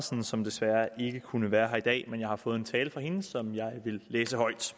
som desværre ikke kunne være her i dag men jeg har fået en tale fra hende som jeg vil læse højt